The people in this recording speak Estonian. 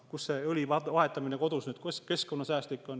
Kuidas õli vahetamine kodus keskkonnasäästlik on?